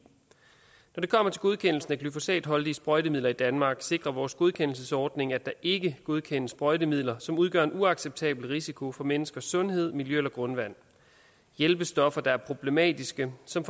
når det kommer til godkendelsen af glyfosatholdige sprøjtemidler i danmark sikrer vores godkendelsesordning at der ikke godkendes sprøjtemidler som udgør en uacceptabel risiko for menneskers sundhed miljø eller grundvand hjælpestoffer der er problematiske som